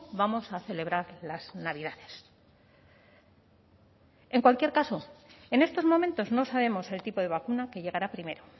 vamos a celebrar las navidades en cualquier caso en estos momentos no sabemos el tipo de vacuna que llegará a primero